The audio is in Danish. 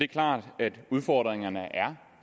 klart at udfordringerne er